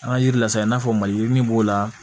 An ka yiri lasa i n'a fɔ mali min b'o la